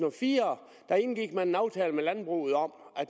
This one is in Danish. og fire indgik en aftale med landbruget om at